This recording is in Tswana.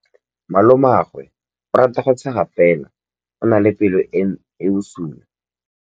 Malomagwe o rata go tshega fela o na le pelo e e bosula.